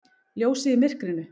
Ljósið í myrkrinu!